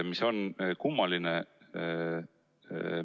See on kummaline.